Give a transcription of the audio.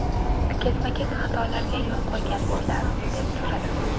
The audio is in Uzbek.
Ketma-ket xatolarga yo‘l qo‘ygansizlar!’ deb so‘radim.